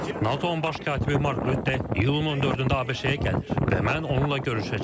NATO-nun baş katibi Mark Rutte iyulun 14-də ABŞ-yə gəlir və mən onunla görüşəcəm.